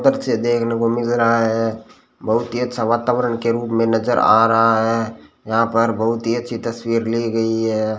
बच्चे देखने को मिल रहा है बहुत ही अच्छा वातावरण के रूप में नजर आ रहा है यहां पर बहुत ही अच्छी तस्वीर ली गई है।